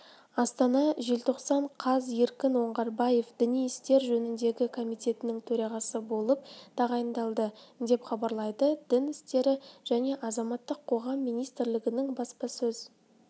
астана желтоқсан қаз еркін оңғарбаев діни істер жөніндегі комитетінің төрағасы болып тағайындалды деп хабарлайды дін істері және азаматтық қоғам министрлігінің баспасөз